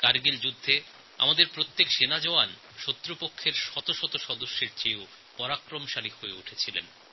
কারগিলের যুদ্ধে আমাদের একএকজন জওয়ান শত্রুপক্ষের শত শত সৈন্যদের কাছে আতঙ্কজনক হয়ে উঠেছিলেন